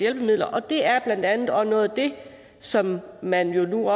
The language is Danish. hjælpemidler og det er blandt andet også noget af det som man nu